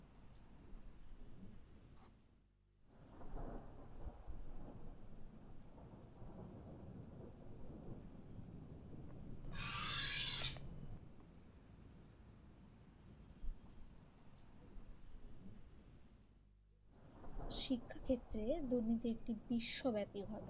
শিক্ষা ক্ষেত্রে দুর্নীতি একটি বিশ্বব্যাপী ঘটনা